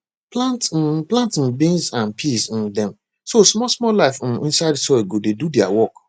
plant um plant um beans and peas um dem so small small life um inside soil go dey do their work